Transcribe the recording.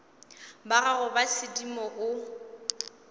ba gago ba sedimo o